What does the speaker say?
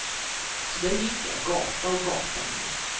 Så där gick jag, gata och och gata ner.